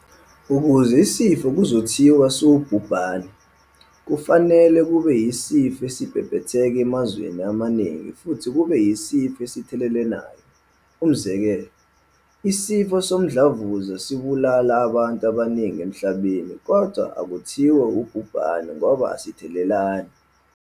Ukuze isifo kuzothiwa siwubhubhane, kufanele kube isifo esibhebhetheke emazweni amaningi futhi kube isifo esithelelanayo. Umzekelo, isifo somdlavuza sibulala abantu abaningi emhlabeni kodwa akuthiwa ubhubhane ngoba asithelelani.